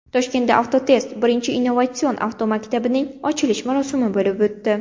Toshkentda Avtotest birinchi innovatsion avtomaktabining ochilish marosimi bo‘lib o‘tdi.